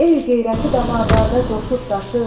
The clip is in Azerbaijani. El qeyrəti damarlarda coşub daşıb.